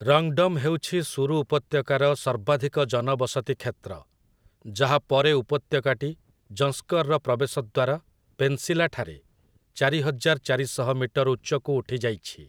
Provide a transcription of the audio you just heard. ରଙ୍ଗ୍‌ଡମ୍' ହେଉଛି ସୁରୁ ଉପତ୍ୟକାର ସର୍ବାଧିକ ଜନବସତି କ୍ଷେତ୍ର, ଯାହା ପରେ ଉପତ୍ୟକାଟି ଯଂସ୍କର୍‌ର ପ୍ରବେଶ ଦ୍ୱାର, ପେନ୍‌ସି-ଲା ଠାରେ, ଚାରିହଜାର ଚାରିଶହ ମିଟର ଉଚ୍ଚକୁ ଉଠିଯାଇଛି ।